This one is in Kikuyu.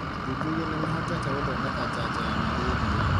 Athuthuria nĩmahotete gũthondeka janjo ya malaria.